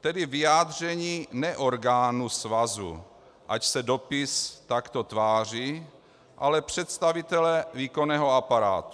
tedy vyjádření ne orgánu svazu, ač se dopis takto tváří, ale představitele výkonného aparátu.